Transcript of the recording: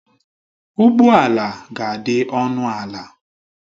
Ụgbọ ala ga-adị ọnụ ala